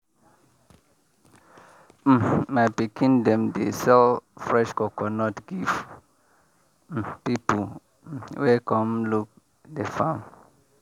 um my pikin dem dey sell fresh coconut give um people um wey come look the farm.